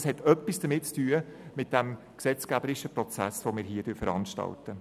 Das hat etwas mit dem gesetzgeberischen Prozess zu tun, den wir hier veranstalten.